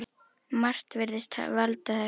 Margt virðist valda þessu.